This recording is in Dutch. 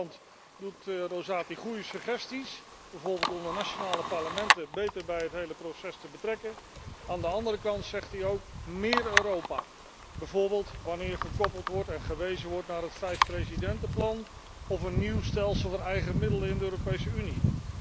Aan de ene kant doet rapporteur Rosati goede suggesties, bijvoorbeeld om de nationale parlementen beter bij het hele proces te betrekken. Aan de andere kant pleit hij ook voor meer Europa, bijvoorbeeld wanneer verwezen wordt naar het vijfpresidentenplan of een nieuw stelsel van eigen middelen in de Europese Unie.